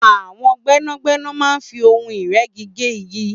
àwọn gbẹ́nàgbẹ́nà máa ń fi ohun ìrẹ́gi gé igi